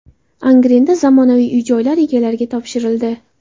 Angrenda zamonaviy uy-joylar egalariga topshirildi.